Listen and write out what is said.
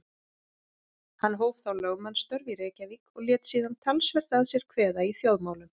Hann hóf þá lögmannsstörf í Reykjavík og lét síðan talsvert að sér kveða í þjóðmálum.